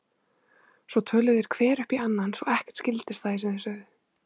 Svo töluðu þeir hver upp í annan svo ekkert skildist af því sem þeir sögðu.